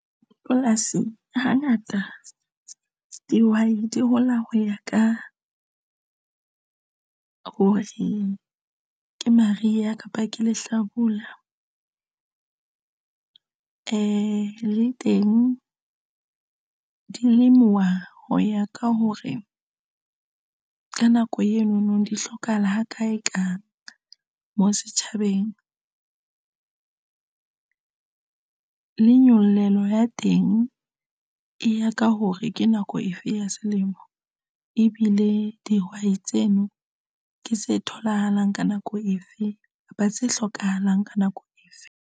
Polasi hangata dihwai di hola ho ya ka hore ke mariha kapa ke le hlabula e le teng do lemuwa ho ya ka hore ka nako eno no di hlokahala ha kae ka mo setjhabeng le nyollelo ya teng e ya ka hore ke nako efe ya selemo ebile dihwai tseno ke tse tholahalang ka nako efe kapa tse hlokahalang ka nako efe.